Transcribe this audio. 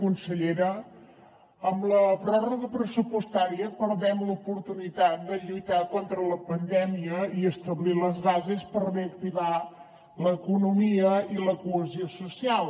consellera amb la pròrroga pressupostària perdem l’oportunitat de lluitar contra la pandèmia i establir les bases per reactivar l’economia i la cohesió social